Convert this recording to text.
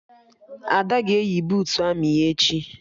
Ada ga-eyi buutu amị ya echi